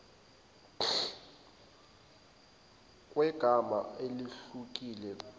kwegama elehlukile kulelo